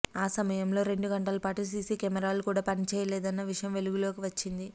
ఆ సమయంలో రెండు గంటలపాటు సీసీ కెమెరాలు కూడా పనిచేయలేదన్న విషయం వెలుగులోకి వచ్చింది